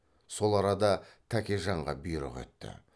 сол арада тәкежанға бұйрық етті